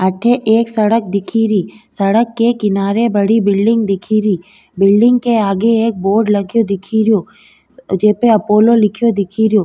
अठे एक सड़क दिखे री सड़क के किनारे बड़ी बिलडिंग दिखे री बिलडिंग के आगे एक बोर्ड लगो दिखे रियो जेपे अपोलो लिखयो दिखे रियो।